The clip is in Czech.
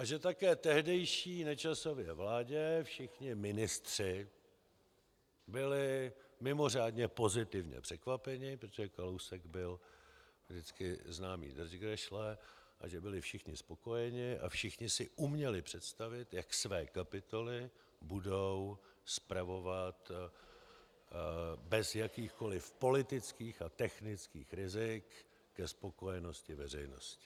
A že také v tehdejší Nečasově vládě všichni ministři byli mimořádně pozitivně překvapeni, protože Kalousek byl vždycky známý držgrešle, takže byli všichni spokojeni a všichni si uměli představit, jak své kapitoly budou spravovat bez jakýchkoliv politických a technických rizik ke spokojenosti veřejnosti.